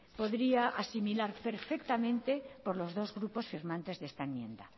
podría asimilar perfectamente por los dos grupos firmantes de esta enmienda